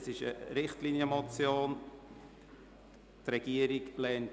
Es ist eine Richtlinienmotion, die die Regierung ablehnt.